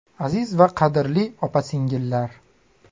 Aziz va qadrli opa-singillar!